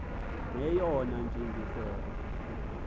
neyona ntsi ngiselo